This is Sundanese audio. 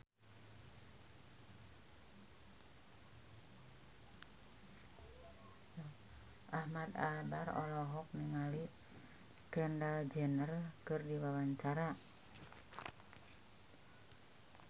Ahmad Albar olohok ningali Kendall Jenner keur diwawancara